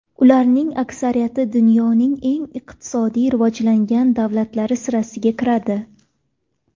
Ularning aksariyati dunyoning eng iqtisodiy rivojlangan davlatlari sirasiga kiradi.